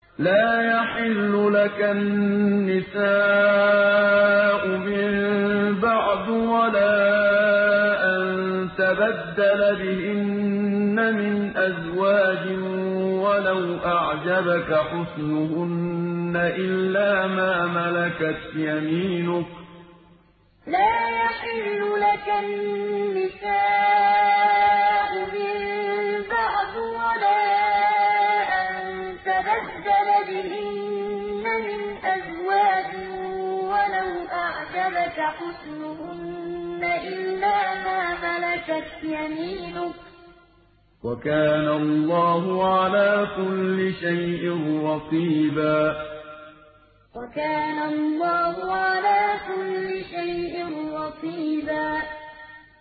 لَّا يَحِلُّ لَكَ النِّسَاءُ مِن بَعْدُ وَلَا أَن تَبَدَّلَ بِهِنَّ مِنْ أَزْوَاجٍ وَلَوْ أَعْجَبَكَ حُسْنُهُنَّ إِلَّا مَا مَلَكَتْ يَمِينُكَ ۗ وَكَانَ اللَّهُ عَلَىٰ كُلِّ شَيْءٍ رَّقِيبًا لَّا يَحِلُّ لَكَ النِّسَاءُ مِن بَعْدُ وَلَا أَن تَبَدَّلَ بِهِنَّ مِنْ أَزْوَاجٍ وَلَوْ أَعْجَبَكَ حُسْنُهُنَّ إِلَّا مَا مَلَكَتْ يَمِينُكَ ۗ وَكَانَ اللَّهُ عَلَىٰ كُلِّ شَيْءٍ رَّقِيبًا